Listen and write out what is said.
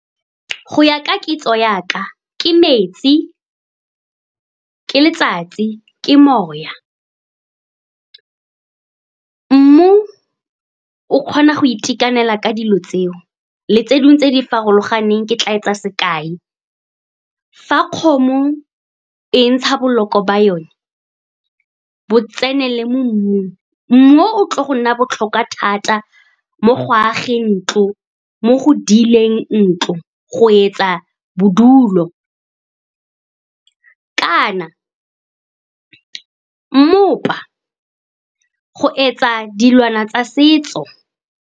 Go ya ka kitso ya ka, ke metsi, ke letsatsi, ke moya. Mmu o kgona go itekanela ka dilo tseo le tse dingwe tse di farologaneng. Ke tla etsa sekai, fa kgomo e ntsha boloko ba yone bo tsenele mo mmung, mmu o o tlile go nna botlhokwa thata mo go ageng ntlo, mo go dileng ntlo, go etsa bodulo kana mmopa, go etsa dilwana tsa setso.